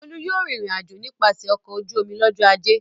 Bólú yóò rìnrìn-àjò nípasẹ̀ ọkọ̀ ojú-omi lọ́jọ́ ajé.